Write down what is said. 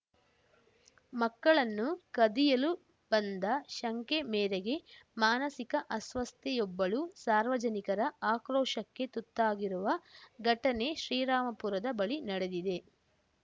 ಮಕ್ಕಳನ್ನು ಕದಿಯಲು ಬಂದ ಶಂಕೆ ಮೇರೆಗೆ ಮಾನಸಿಕ ಅಸ್ವಸ್ಥೆಯೊಬ್ಬಳು ಸಾರ್ವಜನಿಕರ ಆಕ್ರೋಶಕ್ಕೆ ತುತ್ತಾಗಿರುವ ಘಟನೆ ಶ್ರೀರಾಮಪುರದ ಬಳಿ ನಡೆದಿದೆ